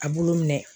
A bulu minɛ